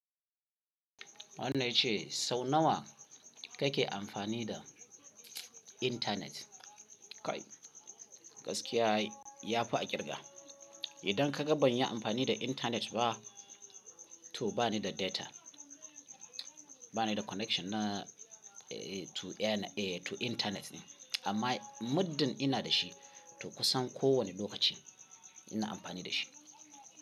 Wannan yace sau nawa kake amfani da internet? Kai gaskiya ya fi a ƙirga. Idan ka gaban yi amfani da internet ba to bani da data, bani da connection na to internet ne. Amma muddin ina da shi to kusan ko wane lokaci ina amfani da shi.